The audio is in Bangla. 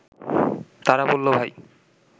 তারা বলল ভাই